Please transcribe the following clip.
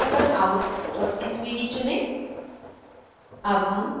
brochureout svg चुनें